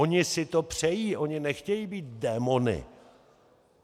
Oni si to přejí, oni nechtějí být démony.